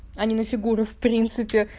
они на фигуру в принципе